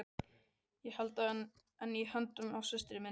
Ég held enn í höndina á systur minni.